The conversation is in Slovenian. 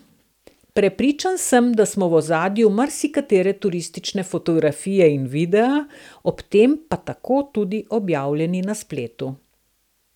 Prepričan sem, da smo v ozadju marsikatere turistične fotografije in videa, ob tem pa tako tudi objavljeni na spletu.